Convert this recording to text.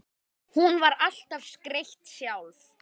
Hún var alltaf skreytt sjálf.